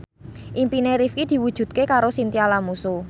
impine Rifqi diwujudke karo Chintya Lamusu